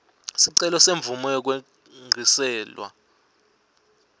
sicelo semvumo yekwengciselwa